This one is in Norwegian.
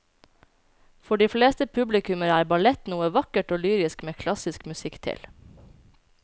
For de fleste publikummere er ballett noe vakkert og lyrisk med klassisk musikk til.